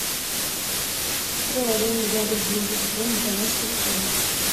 приложение яндекс деньги пополнить баланс телефона